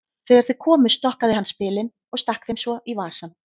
Þegar þau komu stokkaði hann spilin og stakk þeim svo í vasann.